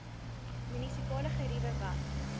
munisipale geriewe wat